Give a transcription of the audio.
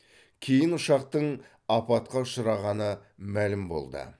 кейін ұшақтың апатқа ұшырағаны мәлім болды